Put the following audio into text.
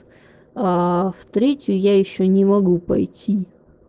аа в третью я ещё не могу пойти